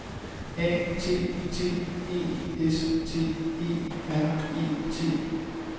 A T T E S T E R E T